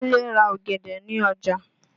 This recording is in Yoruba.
Kúnlé ra ọ̀gẹ̀dẹ̀ ní ọjà.